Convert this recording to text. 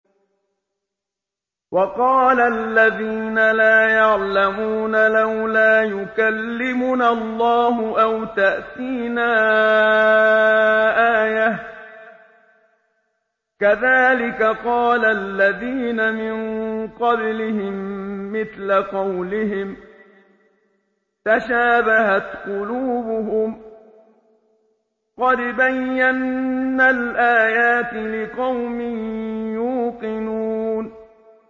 وَقَالَ الَّذِينَ لَا يَعْلَمُونَ لَوْلَا يُكَلِّمُنَا اللَّهُ أَوْ تَأْتِينَا آيَةٌ ۗ كَذَٰلِكَ قَالَ الَّذِينَ مِن قَبْلِهِم مِّثْلَ قَوْلِهِمْ ۘ تَشَابَهَتْ قُلُوبُهُمْ ۗ قَدْ بَيَّنَّا الْآيَاتِ لِقَوْمٍ يُوقِنُونَ